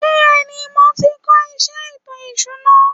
Bẹ́ẹ̀ni, mo tí ń kó iṣé ètò ìsuna.